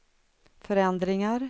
förändringar